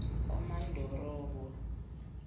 samandorobo